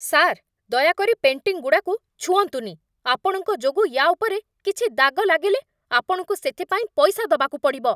Sir, ଦୟାକରି ପେଣ୍ଟିଂଗୁଡ଼ାକୁ ଛୁଅଁନ୍ତୁନି! ଆପଣଙ୍କ ଯୋଗୁଁ ୟା' ଉପରେ କିଛି ଦାଗ ଲାଗିଲେ, ଆପଣଙ୍କୁ ସେଥିପାଇଁ ପଇସା ଦବାକୁ ପଡ଼ିବ ।